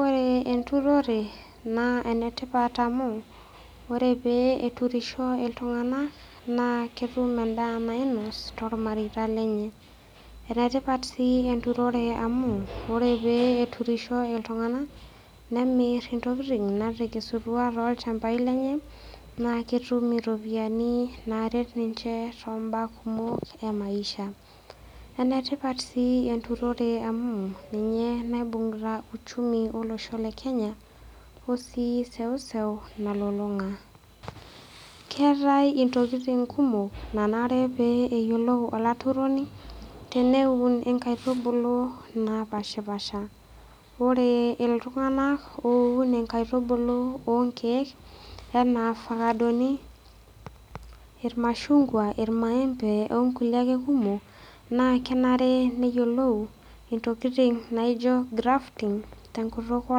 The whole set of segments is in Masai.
Ore enturore naa ene tipat amu ore pee eturisho iltung'anak naa ketum endaa nainos tormareita lenye. Ene tipat sii enturore amu ore pee eturisho iltung'anak nemir intokitin naatekesutua too ilchambai lenye, naake etum iropiani naaret ninche too mbaa kumok e maisha. Ene tipat sii enturore amu ninye naibung'ita uchumi olosho le Kenya wo sii seuseu nalulung'a. Keetai intokitin kumok nanare pee eyiolou olaturoni, neun inkaitubulu naapashipaasha. Ore iltung'anak oun inkaitubulu oo nkeek enaa fakadoni, irmashung'wa, irmaembe oo kulie ake kumok naa kenare neyiolou intokitin naijo grafting te nkutuk oo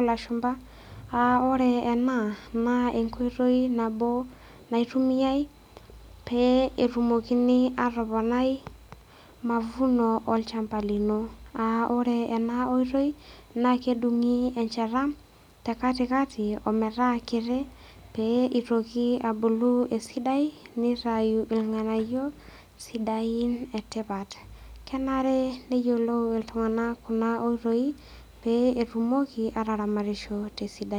lashumba, aa ore ena naa enkoitoi nabo naitumiai pee etumokini aatoponai mavuno olchamba lino. Aa ore ena oitoi naa kedung'i enchata te katikati metaa kiti pee itoki abulu esidai nitayu irng'anayio sidain e tipat. Kenare neyiolou iltung'anak kuna oitoi peetumoki aataramatisho te sidano.